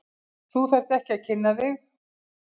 Þú þarft ekki að kynna þig.